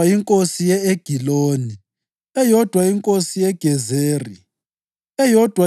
inkosi ye-Egiloni, eyodwa inkosi yeGezeri, eyodwa